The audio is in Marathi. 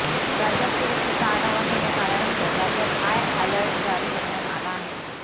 राज्याच्या सुरक्षेचा आढावा घेण्यात आल्यानंतर राज्यात हाय अॅलर्ट जारी करण्यात आला आहे